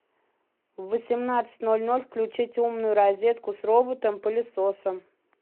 в восемнадцать ноль ноль включить умную розетку с роботом пылесосом